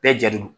Bɛɛ ja don